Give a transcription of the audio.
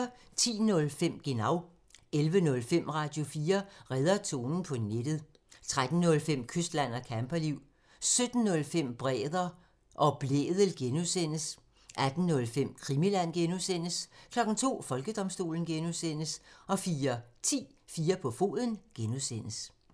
10:05: Genau (tir) 11:05: Radio4 redder tonen på nettet (tir) 13:05: Kystland og camperliv (tir) 17:05: Bremer og Blædel (G) (tir) 18:05: Krimiland (G) (tir) 02:00: Folkedomstolen (G) (tir) 04:10: 4 på foden (G) (tir)